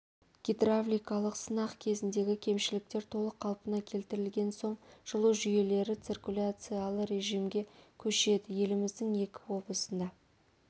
гидравликалық сынақ кезіндегі кемшіліктер толық қалпына келтірілген соң жылу жүйелері циркуляциялы режимге көшеді еліміздің екі облысында